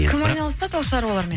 кім айналысады ол шаруалармен